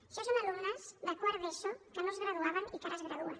això són alumnes de quart d’eso que no es graduaven i que ara es graduen